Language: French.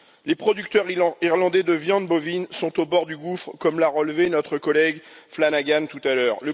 Les producteurs irlandais de viande bovine sont au bord du gouffre, comme l'a relevé notre collègue Flanagan tout à l'heure.